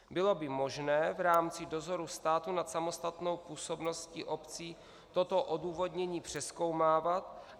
Bylo by možné v rámci dozoru státu nad samostatnou působností obcí toto odůvodnění přezkoumávat?